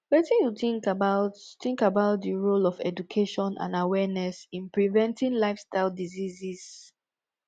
wetin you think about think about di role of education and awareness in preventing lifestyle diseases